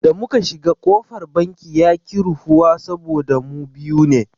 Da muka shiga kofar banki yaƙi rufuwa saboda mu biyu ne.